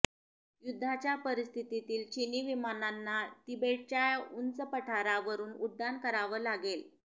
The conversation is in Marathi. युद्धाच्या परिस्थितीत चीनी विमानांना तिबेटच्या उंच पठारावरून उड्डाण करावं लागेल